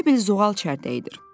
Elə bil zoğal çərdəyidir.